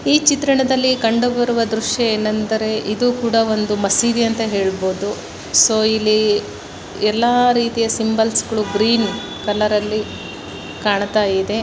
ಈ ಚಿತ್ರಣದಲ್ಲಿ ಕಂಡು ಬರುವ ದೃಶ್ಯ ಏನೆಂದರೆ ಇದು ಕೂಡ ಒಂದು ಮಸೀದಿ ಅಂತ ಹೇಳ್ಬೋದು ಸೋ ಇಲ್ಲಿ ಎಲ್ಲಾ ರೀತಿಯ ಸಿಂಬಲ್ಸ್ ಗಳು ಗ್ರೀನ್ ಕಲರ್ ಅಲ್ಲಿ ಕಾಣ್ತಾ ಇದೆ.